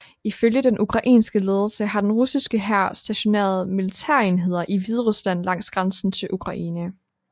Ifølge den ukrainske ledelse har den russiske hær stationeret militærenheder i Hviderusland langs grænsen til Ukraine